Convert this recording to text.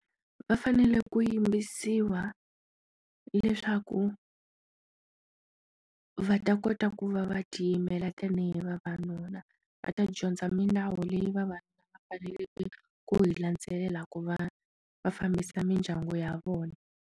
Va fanele ku yimbisiwa leswaku va ta kota ku va va tiyimela tanihi vavanuna va ta dyondza milawu leyi va vanuna va faneleke ku hi landzelela ku va va fambisa mindyangu ya vona.